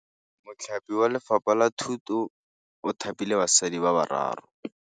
Mothapi wa Lefapha la Thutô o thapile basadi ba ba raro.